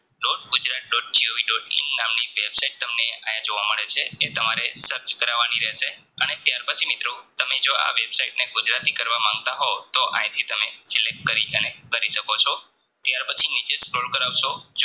એમ નામની Website તમને આયા જોવા મળે છે એ તમારે Search કરવાની રહેશે અને ત્યારબાદ મિત્રો તમે જો આ Website ને ગુજરાતી કરવા માગતા હોવ તો આંયથી તમે Select કરી અને કરી શકો છો ત્યાર પછી નીચે Scroll કરાવશો